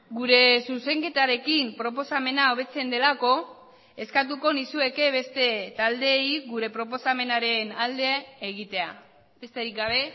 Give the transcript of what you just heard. gure zuzenketarekin proposamena hobetzen delako eskatuko nizueke beste taldeei gure proposamenaren alde egitea besterik gabe